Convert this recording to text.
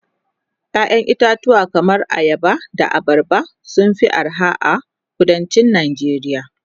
ƴaƴan itatuwa kaman ayaba da abarba sun Fi arha a kuduncin Nigeria